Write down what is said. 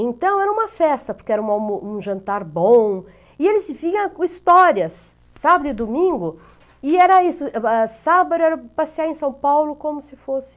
Então era uma festa, porque era uma um jantar bom, e eles vinham com histórias, sábado e domingo, e era isso, sábado era passear em São Paulo como se fosse...